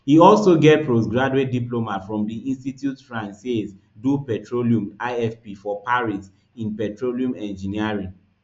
e also get postgraduate diploma from di institute francaise du petrol ifp for paris in petroleum engineering